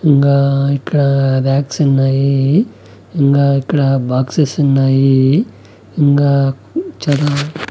ఇంగా ఇక్కడా రాక్స్ ఉన్నాయి ఇంగా ఇక్కడ బాక్సెస్ ఉన్నాయి ఇంగా చాలా --